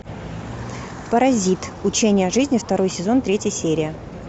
паразит учение жизни второй сезон третья серия